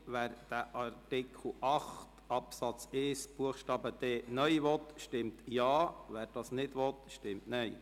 Wer Artikel 8 Absatz 1 Buchstabe d (neu) annehmen will, stimmt Ja, wer das nicht will, stimmt Nein.